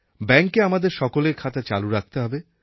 ব্যাঙ্কে আমাদের সকলের খাতা চালু রাখতে হবে